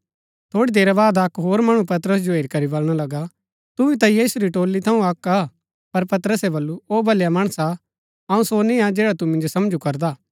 थोड़ी देरी बाद अक्क होर मणु पतरस जो हेरी करी बलणा लगा तू भी ता यीशु री टोली थऊँ अक्क हा पर पतरसे बल्लू ओ भलया माणसा अऊँ सो नियां जैडा तू मिन्जो समझु करदा